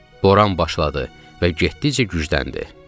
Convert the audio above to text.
Boran başladı və getdikcə gücləndi.